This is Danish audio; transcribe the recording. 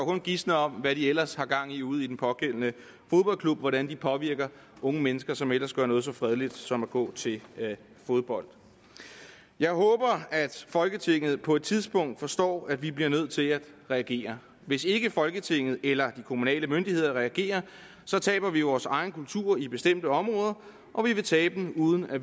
kun gisne om hvad de ellers har gang i ude i den pågældende fodboldklub hvordan de påvirker unge mennesker som ellers gør noget så fredeligt som at gå til fodbold jeg håber at folketinget på et tidspunkt forstår at vi bliver nødt til at reagere hvis ikke folketinget eller de kommunale myndigheder reagerer taber vi vores egen kultur i bestemte områder og vi vil tabe den uden at